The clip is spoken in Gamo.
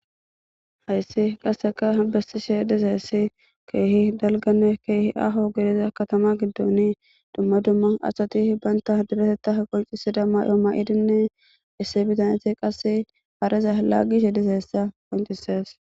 hayssi qasseka bessishe dizayssi keehi dalgane keehi aho gediza katama giddon dumma dumma asati banta direteta qoncisida maayo mayidinne issi bitaneti qasse hareza laaggishe dizayssa qoncisees.